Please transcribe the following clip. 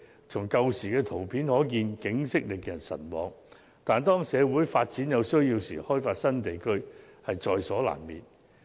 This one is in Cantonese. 從以往的圖片可見，景色令人神往，但當社會有需要發展時，開發新地區也是在所難免的。